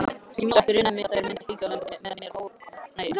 Samt grunaði mig að þær myndu ekki auka mér ánægju.